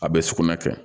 A bɛ sugunɛ kɛ